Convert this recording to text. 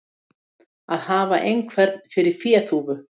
Að hafa einhvern fyrir féþúfu